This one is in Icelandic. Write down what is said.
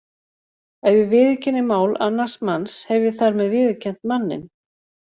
Ef ég viðurkenni mál annars manns hef ég þar með viðurkennt manninn.